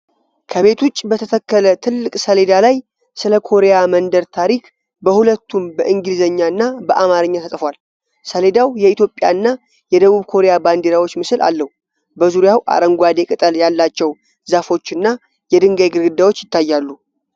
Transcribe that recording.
ከቤት ውጭ በተተከለ ትልቅ ሰሌዳ ላይ፣ ስለ ኮሪያ መንደር ታሪክ በሁለቱም በእንግሊዝኛ እና በአማርኛ ተጽፏል። ሰሌዳው የኢትዮጵያ እና የደቡብ ኮሪያ ባንዲራዎች ምስል አለው። በዙሪያው አረንጓዴ ቅጠል ያላቸው ዛፎች እና የድንጋይ ግድግዳዎች ይታያሉ።